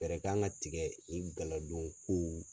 Fɛɛrɛ kan ka tigɛ nin galadon ko